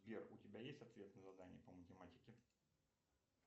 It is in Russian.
сбер у тебя есть ответ на задание по математике